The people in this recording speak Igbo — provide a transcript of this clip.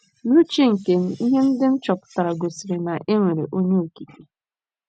N’uche nke m, ihe ndị m chọpụtara gosiri na e nwere Onye Okike.